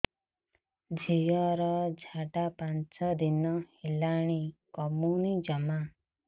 ଝିଅର ଝାଡା ପାଞ୍ଚ ଦିନ ହେଲାଣି କମୁନି ଜମା